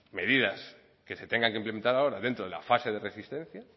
medidas que se tengan que implementar ahora dentro de la fase de resistencia